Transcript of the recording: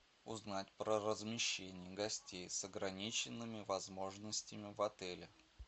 узнать про размещение гостей с ограниченными возможностями в отеле